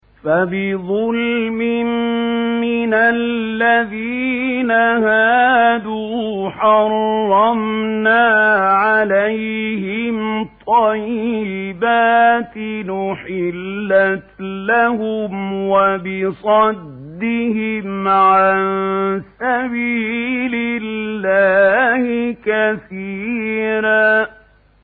فَبِظُلْمٍ مِّنَ الَّذِينَ هَادُوا حَرَّمْنَا عَلَيْهِمْ طَيِّبَاتٍ أُحِلَّتْ لَهُمْ وَبِصَدِّهِمْ عَن سَبِيلِ اللَّهِ كَثِيرًا